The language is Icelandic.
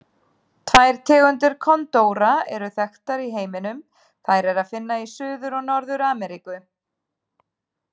Tvær tegundir kondóra eru þekktar í heiminum, þær er að finna í Suður- og Norður-Ameríku.